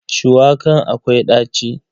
Shuwakan akwai ɗaci.